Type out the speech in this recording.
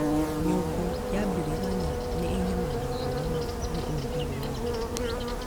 Nyũngũ ya Biringanya nĩ ĩnyamaragio mũno nĩ ũrugarĩ wa thĩ